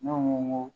Ne ko n ko